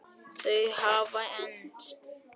Þau hafa enst.